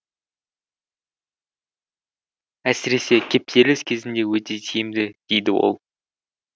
әсіресе кептеліс кезінде өте тиімді дейді ол